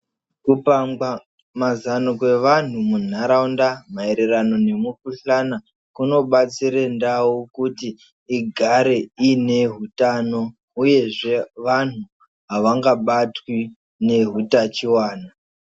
Kupangwa mazano kwevanhu muntaraunda maererano nemukhuhlani kunobatsire ndau kuti igare iine hutano uyezve vanhu havangabatwi nehutachiwana.